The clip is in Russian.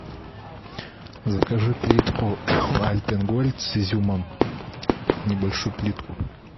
закажи плитку альпен гольд с изюмом небольшую плитку